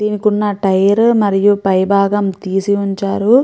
దీనికి ఉన్న టైర్లు మరియు పైభాగం తీసి ఉంచారు.